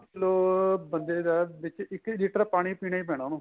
ਵੀਹ ਕਿਲੋ ਬੰਦੇ ਦਾ ਦਿਨ ਚ ਇੱਕ litter ਪਾਣੀ ਪੀਣਾ ਈ ਪੀਣਾ ਉਹਨੂੰ